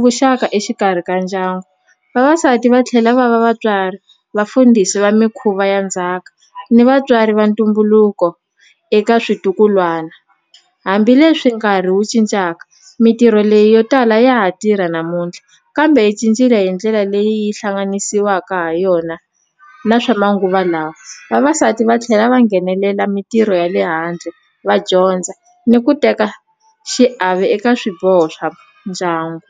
vuxaka exikarhi ka ndyangu vavasati va tlhela va va vatswari vafundhisi va mikhuva ya ndzhaka ni vatswari va ntumbuluko eka switukulwana hambileswi nkarhi wu cincaka mintirho leyi yo tala ya ha tirha namuntlha kambe yi cincile hi ndlela leyi hlanganisiwaka ha yona na swa manguva lawa vavasati va tlhela va nghenelela mintirho ya le handle va dyondza ni ku teka xiave eka swiboho swa ndyangu.